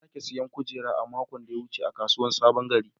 Na sake siyan kujera a makon da ya wuce a kasuwar sabon gari.